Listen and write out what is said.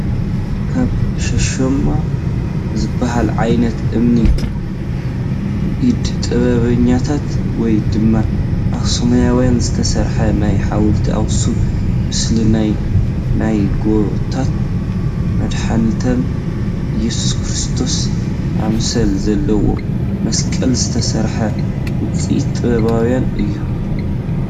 ካብ ሻሽማ ዝበሃል ዓይነት እምኒ ብኢደ ጥበበኛታት ወይ ድማ ኣክሱማውያን ዝተርሐ ናይ ሓወልቲ አክሱም ምስሊ፣ ናይ ናይ ጎይታና መድሓኒትና እየሱስክርስቶስ አምሳል ዘለዎ መስቀል ዝተሰርሐ ውፅኢት ጥበባውያን እዩ፡፡